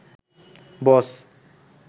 বস